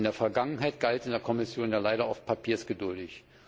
In der Vergangenheit galt in der Kommission ja leider oft Papier ist geduldig.